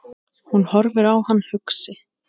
Hún horfir á hann hugsi.